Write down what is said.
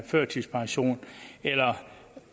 førtidspension eller